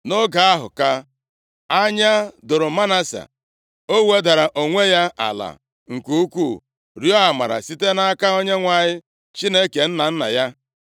Nʼoge ahụ ka anya doro Manase. O wedara onwe ya ala nke ukwuu, rịọọ amara site nʼaka Onyenwe anyị Chineke nna nna ya.